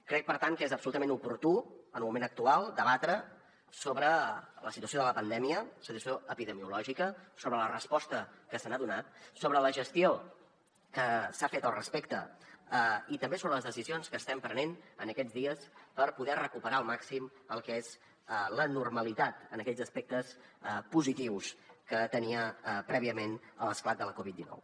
crec per tant que és absolutament oportú en el moment actual debatre sobre la situació de la pandèmia situació epidemiològica sobre la resposta que s’hi ha donat sobre la gestió que s’ha fet al respecte i també sobre les decisions que estem prenent en aquests dies per poder recuperar al màxim el que és la normalitat en aquells aspectes positius que teníem prèviament a l’esclat de la covid dinou